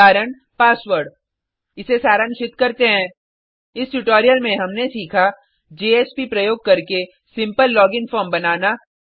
उदाहरण पासवर्ड इसे सारांशित करते हैं इस ट्यूटोरियल में हमने सीखा जेएसपी प्रयोग करके सिम्पल लोगिन फॉर्म बनाना